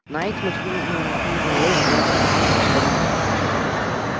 найд мотнул головой взглядом указывая в сторону